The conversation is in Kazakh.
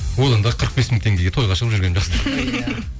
одан да қырық бес мың теңгеге тойға шығып жүргенім жақсы